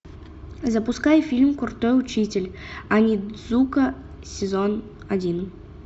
запускай фильм крутой учитель онидзука сезон один